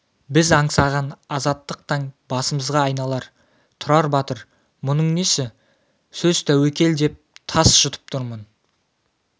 біз аңсаған азаттық таң басымызға айналар тұрар батыр мұның несі сөз тәуекел деп тас жұтып тұрмын